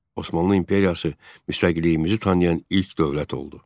Osmanlı İmperiyası müstəqilliyimizi tanıyan ilk dövlət oldu.